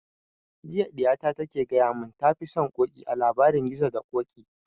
Jiya ɗiya ta ke gaya mun ta fi son ƙoƙi a labarin gizo da ƙoƙi